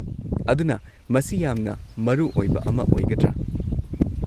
ꯑꯗꯨꯅ ꯃꯁꯤ ꯌꯥꯝꯅ ꯃꯔꯨ ꯑꯣꯏꯕ ꯑꯃ ꯑꯣꯏꯒꯗ꯭ꯔꯥ?